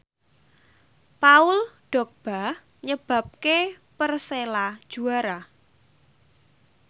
Paul Dogba nyebabke Persela juara